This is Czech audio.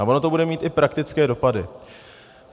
A ono to bude mít i praktické dopady.